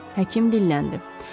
həkim dilləndi.